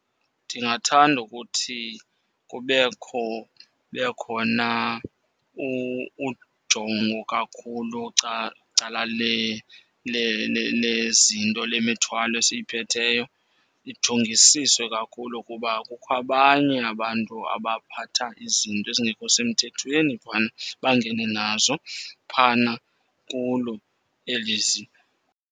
Ndingathanda ukuthi kubekho, kube khona ujongo kakhulu cala lezinto, lemithwalo esiyiphetheyo. Ijongisiswe kakhulu kuba kukho abanye abantu abaphatha izinto ezingekho semthethweni phana bangene nazo phana kulo eli ziko.